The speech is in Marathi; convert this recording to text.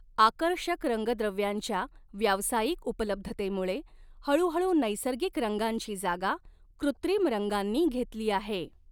आकर्षक रंगद्रव्यांच्या व्यावसायिक उपलब्धतेमुळे, हळूहळू नैसर्गिक रंगांची जागा कृत्रिम रंगांनी घेतली आहे.